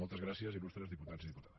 moltes gràcies il·lustres diputats i diputades